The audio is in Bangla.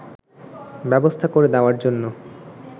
ব্যবস্থা করে দেওয়ার জন্য